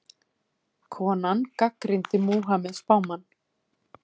Konan gagnrýndi Múhameð spámann